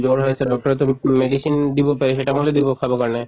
জ্বৰ হৈ আছে doctor য়েতো medicine দিব paracetamol য়ে দিব খাব কাৰণে